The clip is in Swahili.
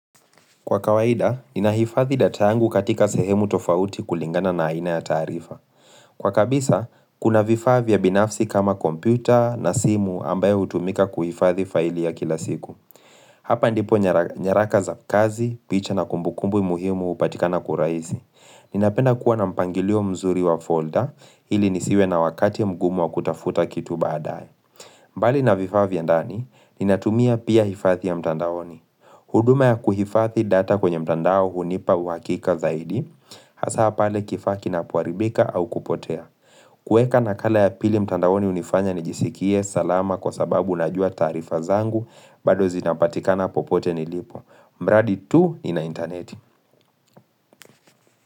Kwa kawaida, ninahifadhi data yangu katika sehemu tofauti kulingana na aina ya taarifa. Kwa kabisa, kuna vifaa vya binafsi kama kompyuta na simu ambayo hutumika kuhifadhi faili ya kila siku. Hapa ndipo nyaraka za kazi, picha na kumbukumbu muhimu hupatikana kwa urahisi. Ninapenda kuwa na mpangilio mzuri wa folder ili nisiwe na wakati mgumu wa kutafuta kitu baadaye. Mbali na vifaa vya ndani, ninatumia pia hifadhi ya mtandaoni. Huduma ya kuhifadhi data kwenye mtandao hunipa uhakika zaidi, hasa pale kifaa kinapoharibika au kupotea. Kueka nakala ya pili mtandaoni hunifanya nijisikie salama kwa sababu najua taarifa zangu bado zinapatikana popote nilipo. Mradi tu nina interneti.